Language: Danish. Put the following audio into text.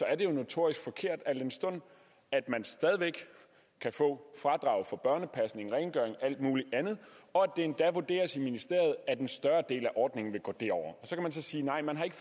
er det jo notorisk forkert al den stund at man stadig væk kan få fradrag for børnepasning rengøring alt muligt andet og at det endda vurderes i ministeriet at en større del af ordningen vil gå derover så kan man så sige nej man har ikke